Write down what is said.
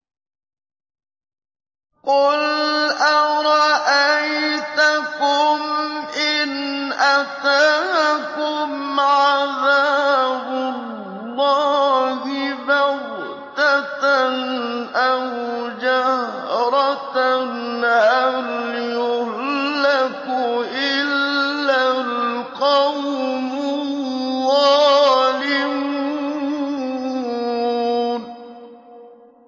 قُلْ أَرَأَيْتَكُمْ إِنْ أَتَاكُمْ عَذَابُ اللَّهِ بَغْتَةً أَوْ جَهْرَةً هَلْ يُهْلَكُ إِلَّا الْقَوْمُ الظَّالِمُونَ